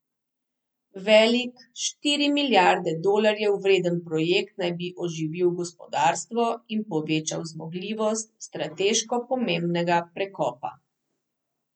Velik, štiri milijarde dolarjev vreden projekt naj bi oživil gospodarstvo in povečal zmogljivost strateško pomembnega prekopa.